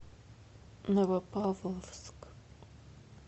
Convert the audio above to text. новопавловск